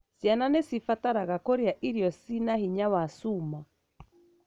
Ciana nĩ cibataraga kũria irio cĩĩna hinya wa cuma.